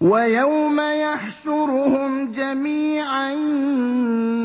وَيَوْمَ يَحْشُرُهُمْ جَمِيعًا